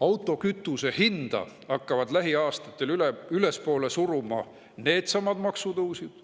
Autokütuse hinda hakkavad lähiaastatel ülespoole suruma needsamad maksutõusud